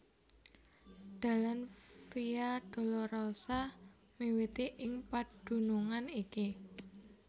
Dalan Via Dolorosa miwiti ing padunungan iki